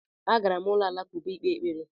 Agara m ụlọ alakụba ịkpe ekpere